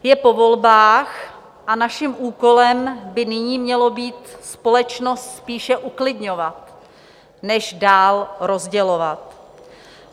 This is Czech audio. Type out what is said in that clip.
Je po volbách a naším úkolem by nyní mělo být společnost spíše uklidňovat než dál rozdělovat.